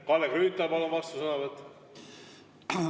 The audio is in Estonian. Kalle Grünthal, palun vastusõnavõtt!